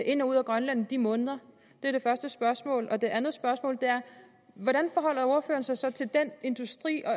ind og ud af grønland i de måneder det er det første spørgsmål det andet spørgsmål er hvordan forholder ordføreren sig så til den industri og